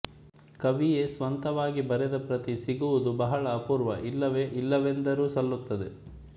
ಕವಿಯೇ ಸ್ವಂತವಾಗಿ ಬರೆದ ಪ್ರತಿ ಸಿಕ್ಕುವುದು ಬಹಳ ಅಪೂರ್ವ ಇಲ್ಲವೇ ಇಲ್ಲವೆಂದರೂ ಸಲ್ಲುತ್ತದೆ